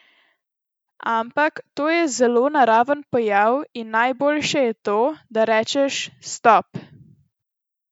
Ampak to je zelo naraven pojav in najboljše je to, da rečeš: "Stop.